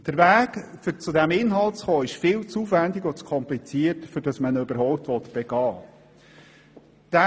Der Weg, um zu diesem Inhalt zu gelangen, ist viel zu aufwendig und zu kompliziert, als dass man ihn überhaupt begehen mag.